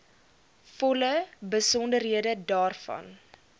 volle besonderhede daarvan